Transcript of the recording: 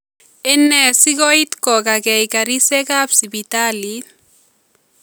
Ene sikoiit kokaakeey karisyekaab sibitaliit ?